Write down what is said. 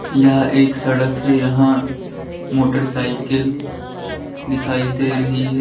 यह एक सड़क है यहां मोटरसाइकिल दिखाई दे रही है।